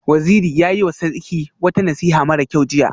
Waziri ya yiwa Sarki wata nasiha mara kyau jiya